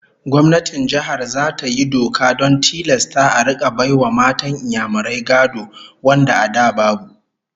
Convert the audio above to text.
Gwamnatin Jihar zata yi doka don tilasta a rika bai wa matan Inyamurai gado wanda a da babu